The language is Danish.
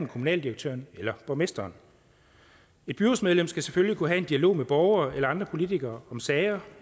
kommunaldirektøren eller borgmesteren et byrådsmedlem skal selvfølgelig kunne have en dialog med borgere eller andre politikere om sager